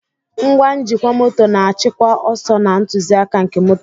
Ngwa njikwa moto na-achịkwa ọsọ na ntụzịaka nke moto.